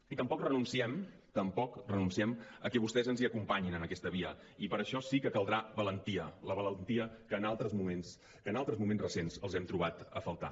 i tampoc renunciem tampoc renunciem que vostès ens hi acompanyin en aquesta via i per a això sí que caldrà valentia la valentia que en altres moments que en altres moments recents els hem trobat a faltar